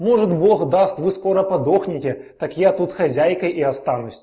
может бог даст вы скоро подохнете так я тут хозяйкой и останусь